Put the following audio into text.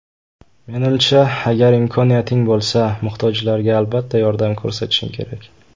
Menimcha: agar imkoniyating bo‘lsa, muhtojlarga albatta yordam ko‘rsatishing kerak.